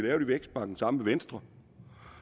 i vækstpakken sammen med venstre